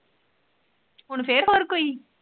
ਹੁਣ ਫੇਰ ਹੋਰ ਕੋਈ?